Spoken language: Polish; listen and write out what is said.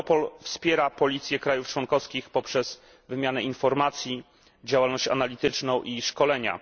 Europol wspiera policję państw członkowskich poprzez wymianę informacji, działalność analityczną i szkolenia.